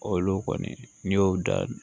Olu kɔni n'i y'o da